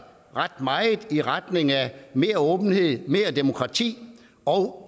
ret meget i retning af mere åbenhed mere demokrati og